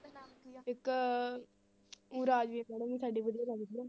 ਇੱਕ ਊਂ ਰਾਜਦੀਪ madam ਵੀ ਸਾਡੀ ਵਧੀਆ ਲੱਗਦੀ ਆ।